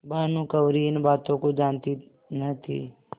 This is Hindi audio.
भानुकुँवरि इन बातों को जानती न थी